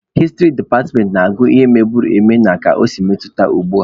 Hịstrị departmentị na-agụ ihe mebugoro eme na ka o si metụta ugbua.